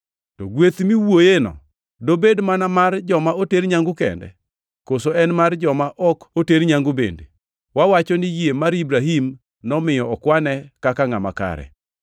To gweth miwuoyeni dobed mana mar joma oter nyangu kende, koso en mar joma ok oter nyangu bende? Wawacho ni yie mar Ibrahim nomiyo okwane kaka ngʼama kare.